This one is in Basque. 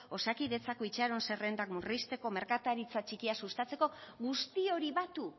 osakidetzako itxaron zerrendak murrizteko merkataritza txikia sustatzeko guzti hori batu